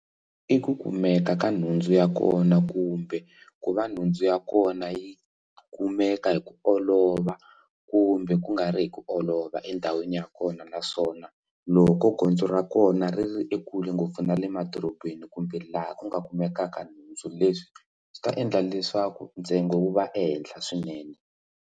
I ku kumeka ka nhundzu ya kona kumbe ku va nhundzu ya kona yi kumeka hi ku olova kumbe ku nga ri hi ku olova endhawini ya kona naswona swona loko gondzo ra kona ri ri ekule ngopfu na le madorobeni kumbe laha ku nga kumekaka nhundzu leswi swi ta endla leswaku ntsengo wu va ehenhla swinene.